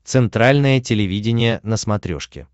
центральное телевидение на смотрешке